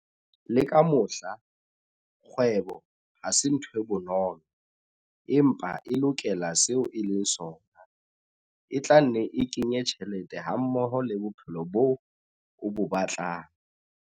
Le ka mohla, kgwebo ha se ntho e bonolo, empa e lokela seo e leng sona. E tla nne e kenye tjhelete hammoho le bophelo boo o bo batlang.